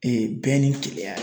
bɛn ni kelenya